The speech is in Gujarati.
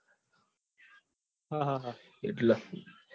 હા હા હા એટલે.